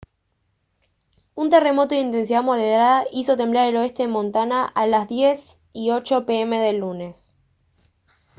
un terremoto de intensidad moderada hizo temblar el oeste de montana a las 10:08 p m del lunes